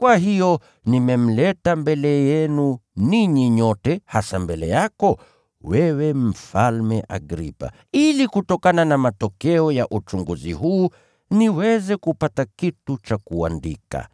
Kwa hiyo nimemleta mbele yenu ninyi nyote, hasa mbele yako, Mfalme Agripa, ili kutokana na matokeo ya uchunguzi huu, niweze kupata kitu cha kuandika.